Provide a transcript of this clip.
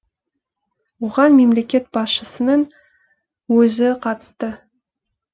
оған мемлекет басшысының өзі қатысты